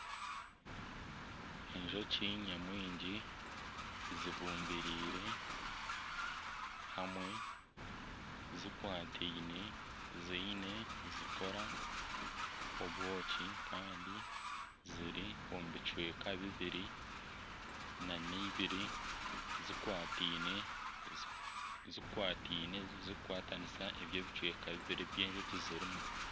Enjoki nyamwingi zibumbireire hamwe zikwataine nizikora obwoki kandi ziri omu bicweka bibiri na n'eibiri zikwataine zikukwatanisa ebyo ebicweka bibiri ebi enjoki zirimu.